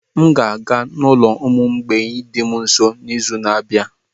M ga-aga n'ulo ụmụ mgbei dị m nso n'izu na-abịa.